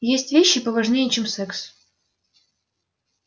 есть вещи поважнее чем секс